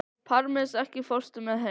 Parmes, ekki fórstu með þeim?